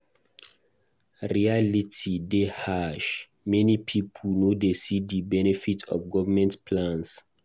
Reality dey harsh; many pipo no dey see di benefits of government plans.